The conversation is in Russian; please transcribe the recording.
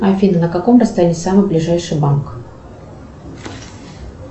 афина на каком расстоянии самый ближайший банк